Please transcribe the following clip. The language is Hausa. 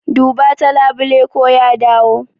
Duba ta labule ko ya dawo.